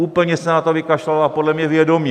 Úplně se na to vykašlala a podle mě vědomě.